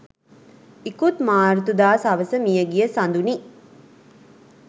ඉකුත් මාර්තුදා සවස මියගිය සඳුනි